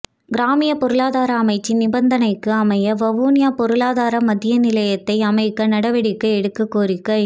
கிராமிய பொருளாதார அமைச்சின் நிபந்தனைக்கு அமைய வவுனியா பொருளாதார மத்திய நிலையத்தை அமைக்க நடவடிக்கை எடுக்க கோரிக்கை